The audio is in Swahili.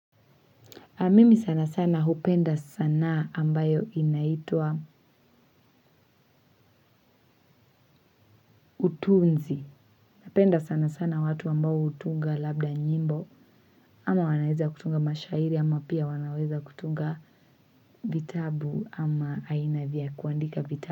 Mimi sana sana hupenda sanaa ambayo inaitwa utunzi napenda sana sana watu ambao hutunga labda nyimbo ama wanaweza kutunga mashairi ama pia wanaweza kutunga vitabu ama aina vya kuandika vitabu.